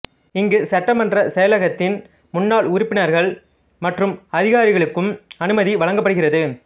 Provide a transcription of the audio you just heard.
இங்கு சட்டமன்ற செயலகத்தின் முன்னாள் உறுப்பினர்கள் மற்றும் அதிகாரிகளுக்கும் அனுமதி வழங்கப்படுகிறது